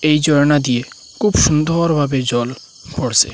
এই ঝর্না দিয়ে খুব সুন্দর ভাবে জল পড়সে।